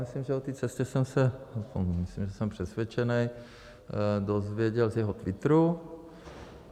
Myslím, že o té cestě jsem se - myslím, že jsem přesvědčený - dozvěděl z jeho Twitteru.